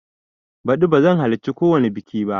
Baɗi bazan halarci kowani biƙi ba